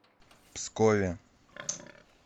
пскове